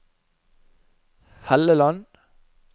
Helleland